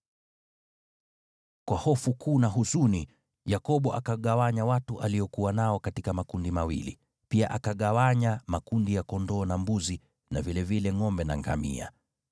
Kwa hofu kuu na huzuni, Yakobo akagawanya watu aliokuwa nao katika makundi mawili, pia akagawanya makundi ya kondoo na mbuzi, na vilevile ngʼombe na ngamia.